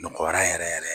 Nɔgɔra yɛrɛ yɛrɛ